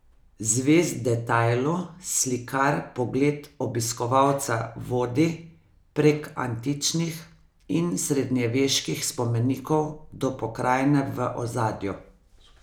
Zvest detajlu slikar pogled obiskovalca vodi prek antičnih in srednjeveških spomenikov do pokrajine v ozadju.